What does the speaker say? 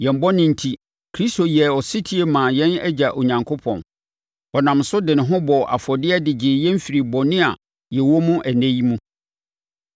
Yɛn bɔne enti, Kristo yɛɛ ɔsetie maa yɛn Agya Onyankopɔn. Ɔnam so de ne ho bɔɔ afɔdeɛ de gyee yɛn firii bɔne a yɛwɔ mu ɛnnɛ yi mu.